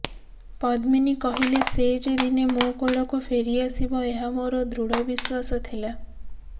ପଦ୍ମିନୀ କହିଲେ ସେ ଯେ ଦିନେ ମୋ କୋଳକୁ ଫେରିଆସିବ ଏହା ମୋର ଦୃଢ ବିଶ୍ୱାସ ଥିଲା